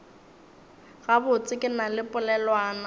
gabotse ke na le polelwana